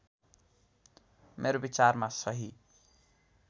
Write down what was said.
मेरो विचारमा सहि